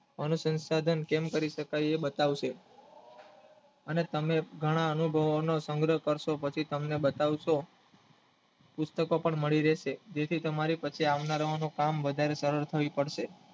અનુસસાધન કેમ કરી શકાય એ બતાવશે અને ઘણા અનુભવોનો સંગ્રહ કરસો પછી તમને બતાવશો ઉત્તક પણ મળી રહેશે જેથી તમારે કસે